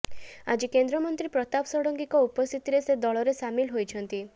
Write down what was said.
ଆଜି କେନ୍ଦ୍ରମନ୍ତ୍ରୀ ପ୍ରତାପ ଷଡ଼ଙ୍ଗୀଙ୍କ ଉପସ୍ଥିତିରେ ସେ ଦଳରେ ସାମିଲ ହୋଇଛନ୍ତି